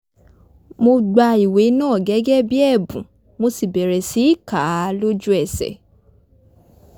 mo gba ìwé náà gẹ́gẹ́ bí ẹ̀bùn mo sì bẹ̀rẹ̀ sí kà á lójú ẹsẹ̀